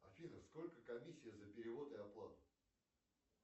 афина сколько комиссия за перевод и оплату